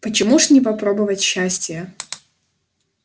почему ж не попробовать счастия